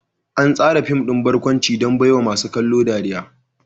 An tsara fim ɗin barkwanci don baiwa masu kallo ɗariya.